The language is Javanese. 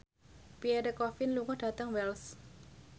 Pierre Coffin lunga dhateng Wells